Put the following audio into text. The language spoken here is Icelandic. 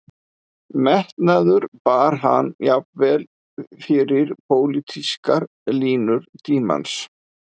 Metnaðurinn bar hann jafnvel yfir pólitískar línur tímans